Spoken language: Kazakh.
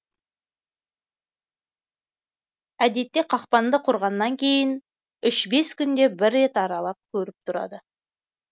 әдетте қақпанды құрғаннан кейін үш бес күнде бір рет аралап көріп тұрады